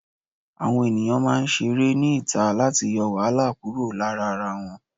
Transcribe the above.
Àwọn ẹ̀yàn máa ń ṣeré ní ìta láti yọ wàhálà kúrò lára ara wọn.